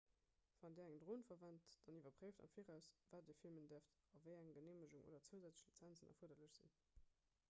wann dir eng dron verwent dann iwwerpréift am viraus wat dir filmen däerft a wéi eng geneemegungen oder zousätzlech lizenzen erfuerderlech sinn